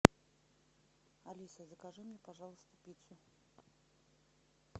алиса закажи мне пожалуйста пиццу